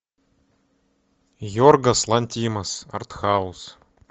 йоргос лантимос артхаус